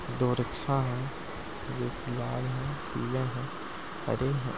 दो रिक्शा हैं एक लाल है पीला है हरे हैं।